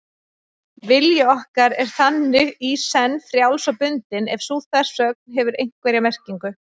Vilji okkar er þannig í senn frjáls og bundinn, ef sú þversögn hefur einhverja merkingu.